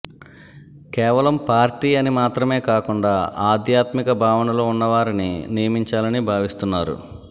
కేవలం పార్టీ అని మాత్రమే కాకుండా ఆధ్యాత్మిక భావనలు ఉన్నవారిని నియమించాలని భావిస్తున్నారు